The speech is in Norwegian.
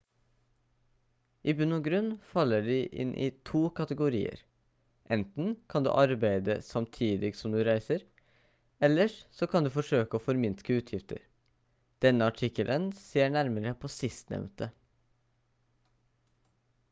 i bunn og grunn faller de inn i 2 kategorier enten kan du arbeide samtidig som du reiser ellers så kan du forsøke å forminske utgifter denne artikkelen ser nærmere på sistnevnte